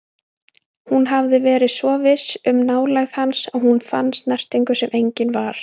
Hún hafði verið svo viss um nálægð hans að hún fann snertingu sem engin var.